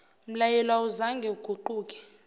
mlayelo awuzange uguquke